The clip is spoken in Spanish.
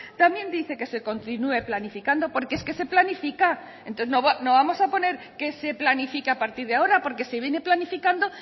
también dice que se continúe planificando porque es que se planifica es que no vamos a poner que se planifica a partir de ahora porque se viene planificando